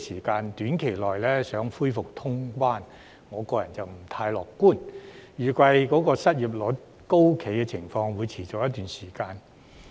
對於短期內期望恢復通關，我個人不太樂觀，而失業率高企的情況預計會持續一段時間。